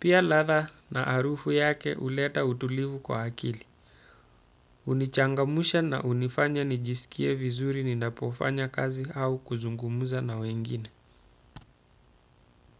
Pia latha na harufu yake huleta utulivu kwa akili. Hunichangamsha na hunifanya nijisikie vizuri ninapofanya kazi au kuzungumza na wengine.